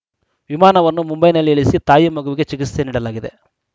ವಿಮಾನವನ್ನು ಮುಂಬೈನಲ್ಲಿ ಇಳಿಸಿ ತಾಯಿ ಮಗುವಿಗೆ ಚಿಕಿತ್ಸೆ ನೀಡಲಾಗಿದೆ